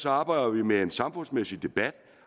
arbejder vi med en samfundsmæssig debat